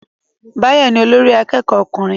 Báyọ̀ ni olórí akẹ́kọ̀ọ́ ọkùnrin